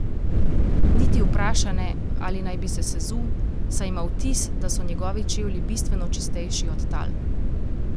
Niti vpraša ne, ali naj bi se sezul, saj ima vtis, da so njegovi čevlji bistveno čistejši od tal.